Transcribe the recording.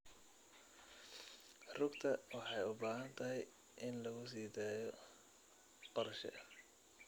Rugta waxay u baahan tahay in lagu sii daayo qorshe.